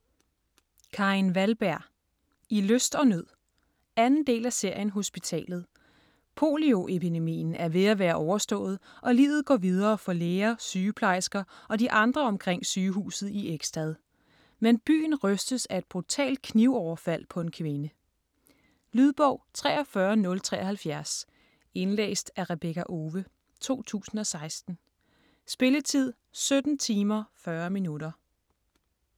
Wahlberg, Karin: I lyst og nød 2. del af serien Hospitalet. Polioepidemien er ved at være overstået, og livet går videre for læger, sygeplejersker og de andre omkring sygehuset i Ekstad. Men byen rystes af et brutalt knivoverfald på en kvinde. Lydbog 43073 Indlæst af Rebekka Owe, 2016. Spilletid: 17 timer, 40 minutter.